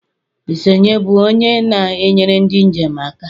Isnye bụ onye na-enyere ndị njem aka?